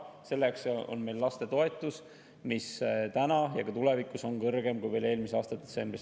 Selleks on meil lapsetoetus, mis täna ja ka tulevikus on kõrgem kui veel eelmise aasta detsembris.